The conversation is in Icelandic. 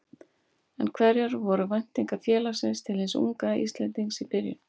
En hverjar voru væntingar félagsins til hins unga Íslendings í byrjun?